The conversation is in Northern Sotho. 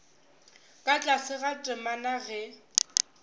ka tlase ga temana ge